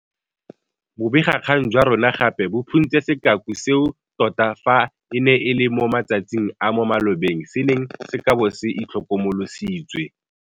Bobegakgang jwa rona gape bo phuntse sekaku seo tota fa e ne e le mo matsatsing a mo malobeng se neng se ka bo se itlhokomolositswe.